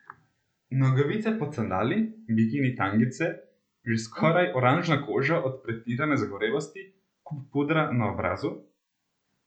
Nogavice pod sandali, bikini tangice, že skoraj oranžna koža od pretirane zagorelosti, kup pudra na obrazu?